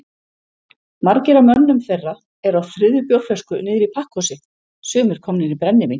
Margir af mönnum þeirra eru á þriðju bjórflösku niðri í pakkhúsi,- sumir komnir í brennivín.